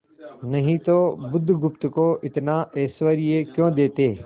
नहीं तो बुधगुप्त को इतना ऐश्वर्य क्यों देते